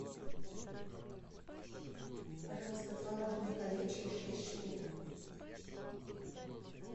пожалуйста творожные колечки шесть штук